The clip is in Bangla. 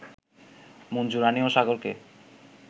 মঞ্জু রানী ও সাগরকে